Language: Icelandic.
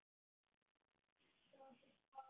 Tóti svaf óvært.